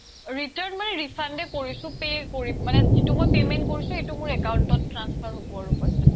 return মানে refund য়ে কোৰিছো pay কৰি মানে যিতো মই payment কৰিছো এইটো মোৰ account ত transfer হব আৰু পইচাটো